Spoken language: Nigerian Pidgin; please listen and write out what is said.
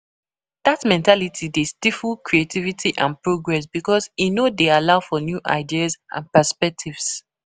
Dat mentality dey stifle creativity and progress because e no dey allow for new ideas and perspectives.